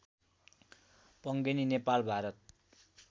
Pangeni Nepal Bharat